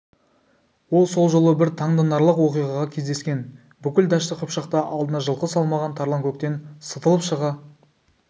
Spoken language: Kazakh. ол сол жолы бір таңданарлық оқиғаға кездескен бүкіл дәшті қыпшақта алдына жылқы салмаған тарланкөктен сытылып шыға